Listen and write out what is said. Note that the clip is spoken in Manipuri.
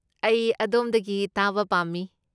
ꯑꯩ ꯑꯗꯣꯝꯗꯒꯤ ꯇꯥꯕ ꯄꯥꯝꯃꯤ ꯫